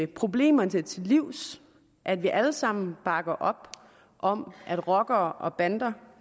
problemerne til livs at vi alle sammen bakker op om at rockere og bander